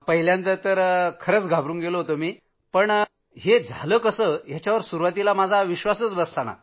पहिल्यांदा तर खूपच घाबरून गेलो होतो मी प्रथम तर माझा हे कसं झालंयावर विश्वासच बसत नव्हता